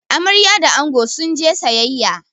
Amarya da ango sun je sayayya